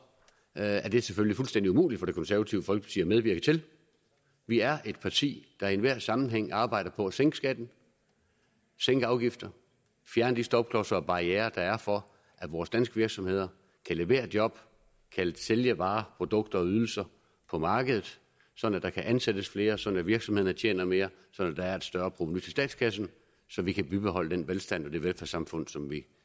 er er det selvfølgelig fuldstændig umuligt for det konservative folkeparti at medvirke til det vi er et parti der i enhver sammenhæng arbejder på at sænke skatten sænke afgifter fjerne de stopklodser og barrierer der er for at vores danske virksomheder kan levere job kan sælge varer produkter og ydelser på markedet sådan at der kan ansættes flere sådan at virksomhederne tjener mere sådan at der er et større provenu til statskassen så vi kan bibeholde den velstand og det velfærdssamfund som vi